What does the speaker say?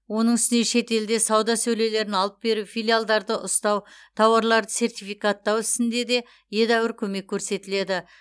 оның үстіне шетелде сауда сөрелерін алып беру филиалдарды ұстау тауарларды сертификаттау ісінде де едәуір көмек көрсетіледі